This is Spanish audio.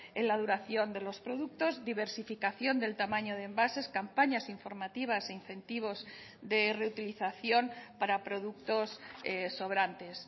en la duración de los productos diversificación del tamaño de envases campañas informativas e incentivos de reutilización para productos sobrantes